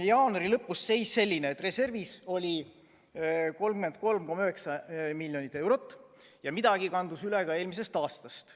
Jaanuari lõpus oli seis selline, et reservis oli 33,9 miljonit eurot ja midagi kandus üle ka eelmisest aastast.